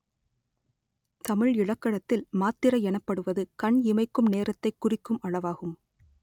தமிழ் இலக்கணத்தில் மாத்திரை எனப்படுவது கண் இமைக்கும் நேரத்தைக் குறிக்கும் அளவாகும்